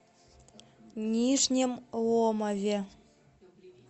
нижнем ломове